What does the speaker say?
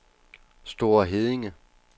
Store Heddinge